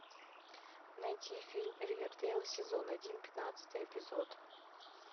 найти фильм ривердейл сезон один пятнадцатый эпизод